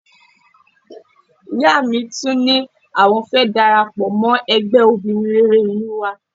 Ìyá mi tún ní àwọn fẹ́ darapọ̀ mọ́ ẹgbẹ́ obìnrin rere ìlú wa